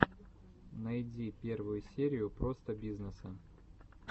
найди первую серию простобизнесса